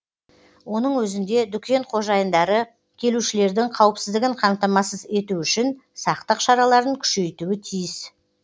оның өзінде дүкен қожайындары келушілердің қауіпсіздігін қамтамасыз ету үшін сақтық шараларын күшейтуі тиіс